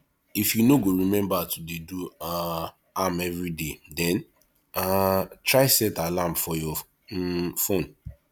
if you no go remember to dey do um am everyday den um try set alarm for your um phone